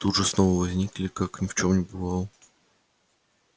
тут же снова возникли как ни в чём не бывало